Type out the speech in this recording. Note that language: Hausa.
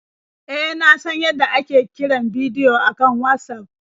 E, na san yadda ake kiran bidiyo a kan Watsaf.